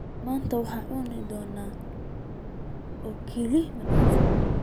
Maanta waxaan cuni doonaa oo kaliya mandazi